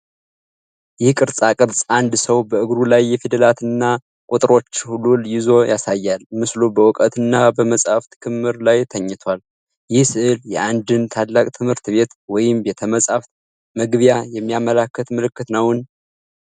ይህ ቅርፃቅርፅ አንድ ሰው በእግሩ ላይ የፊደላትና ቁጥሮች ሉል ይዞ ያሳያል። ምስሉ በእውቀትና በመጻሕፍት ክምር ላይ ተኝቷል። ይህ ሥዕል የአንድን ታላቅ ትምህርት ቤት ወይም ቤተ-መጻሕፍት መግቢያ የሚያመለክት ምልክት ነውን?